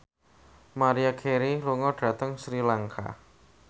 Maria Carey lunga dhateng Sri Lanka